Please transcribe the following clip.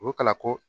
U ka la ko